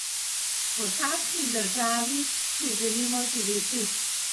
V kakšni državi si želimo živeti?